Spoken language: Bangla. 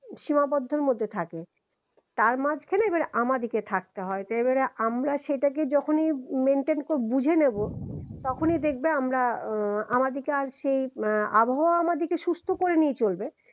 সীমাবদ্ধের মধ্যে থাকে তার মাঝখানে এবার আমাদিকে থাকতে হয় যে এবারে আমরা যখনই সেটাকে maintain করে বুঝে নিব, তখনই দেখবা আমরা উম আমার দিকে আর সেই উম আবহওয়াও আমার দিকে সুস্থ করে নিয়ে চলবে